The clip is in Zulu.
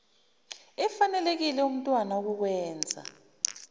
efanelekile kumntwana ukukwenza